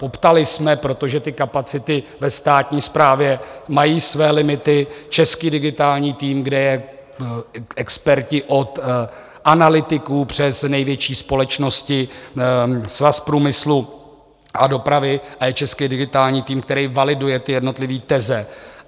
Poptali jsme, protože ty kapacity ve státní správě mají své limity, český digitální tým, kde jsou experti od analytiků přes největší společnosti, Svaz průmyslu a dopravy, a je český digitální tým, který validuje ty jednotlivé teze.